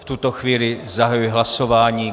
V tuto chvíli zahajuji hlasování.